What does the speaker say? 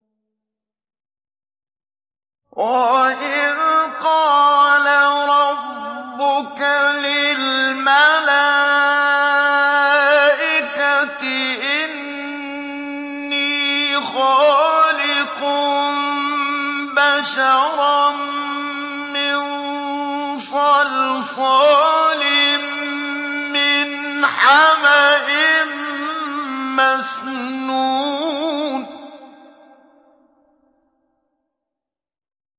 وَإِذْ قَالَ رَبُّكَ لِلْمَلَائِكَةِ إِنِّي خَالِقٌ بَشَرًا مِّن صَلْصَالٍ مِّنْ حَمَإٍ مَّسْنُونٍ